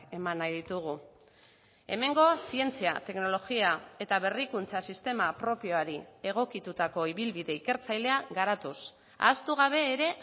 eman nahi ditugu hemengo zientzia teknologia eta berrikuntza sistema propioari egokitutako ibilbide ikertzailea garatuz ahaztu gabe ere